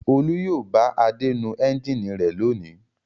Olú yóò bá Adé nu ẹ́ńjínì rẹ̀ lónìí.